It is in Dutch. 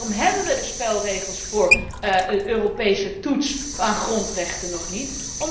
En waarom hebben we de spelregels voor een Europese toets van de grondrechten nog niet?